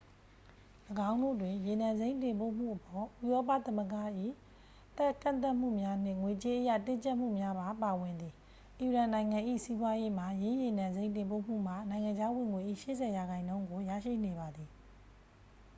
၎င်းတို့တွင် ရေနံစိမ်းတင်ပို့မှုအပေါ် ဥရောပသမ္မဂ၏ ကန့်သတ်မှုများနှင့် ငွေကြေးအရ တင်းကြပ်မှုများပါ ပါဝင်သည် အီရန်နိုင်ငံ၏ စီးပွားရေးမှာ ယင်းရေနံစိမ်းတင်ပို့မှုမှ နိုင်ငံခြားဝင်ငွေ၏ 80% ကို ရရှိနေပါသည်